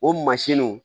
O mansinw